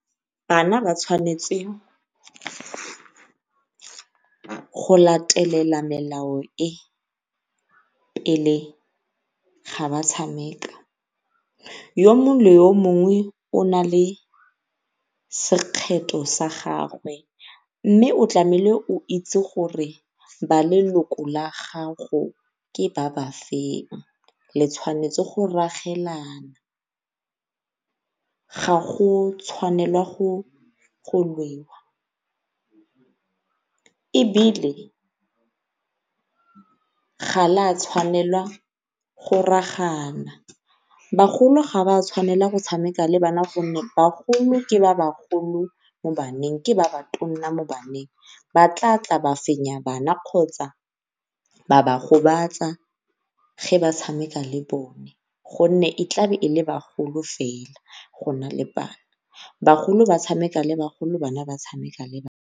Bana ba tshwanetse go latelela melao e, pele ga ba tshameka. Yo mongwe le yo mongwe o nale sekgetho sa gagwe mme o itse gore ba leloko la gago ke ba ba feng le tshwanetse go ragelana, ga go tshwanelwa go lwewa. Ebile ga la tshwanela go ragana, bagolo ga ba tshwanela go tshameka le bana gonne bagolo ke ba ba golo mo baneng. Ke ba ba tonna mo baneng ba tla tla ba fenya bana kgotsa ba ba gobatsa ge ba tshameka le bone go nne e tlabe e le bagolo fela go nale bana, bagolo ba tshameka le bagolo, bana ba tshameka le bana.